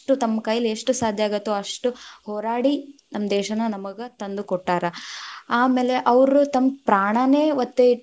ತಮ್ ಕೈಯಲ್ಲಿ ಎಷ್ಟ್ ಸಾಧ್ಯ ಆಗತ್ತೋ ಅಷ್ಟ್ ಹೋರಾಡಿ, ನಮ್ಮ ದೇಶಾನ ನಮಗ ತಂದು ಕೊಟ್ಟಾರ, ಆಮೇಲೆ ಅವ್ರು ತಮ್ಮ ಪ್ರಾಣಾನೇ ಒತ್ತೇ ಇಟ್ಟು.